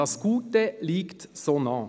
Das Gute liegt so nah.»